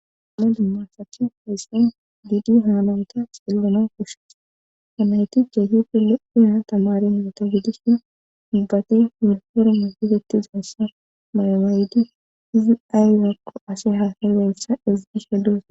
amalu masachi heexin giidi haalonta xillona koshes kanayti ceehife le7ina tamari muota gidisha dibbati wunperne fefeti zenssa malamaaydi izi ayrakko ase haafeweessa izgisha dusa